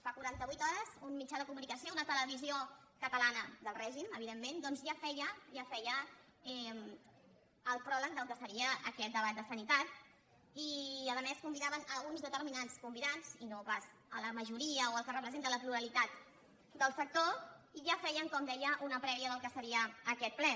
fa quaranta vuit hores un mitjà de comunicació una televisió catalana del règim evidentment doncs ja feia el pròleg del que seria aquest debat de sanitat i a més convidaven uns determinats convidats i no pas la majoria o el que representa la pluralitat del sector i ja feien com deia una prèvia del que seria aquest ple